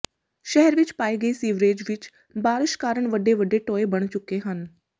ਸ਼ਹਿਰ ਵਿਚ ਪਾਏ ਗਏ ਸੀਵਰੇਜ ਵਿਚ ਬਾਰਸ਼ ਕਾਰਨ ਵੱਡੇ ਵੱਡੇ ਟੋਏ ਬਣ ਚੁੱਕੇ ਹਨ